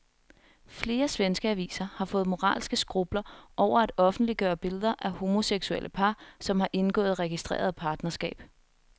Flere svenske aviser har fået moralske skrupler over at offentliggøre billeder af homoseksuelle par, som har indgået registreret partnerskab.